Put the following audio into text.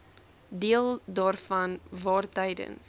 deel daarvan waartydens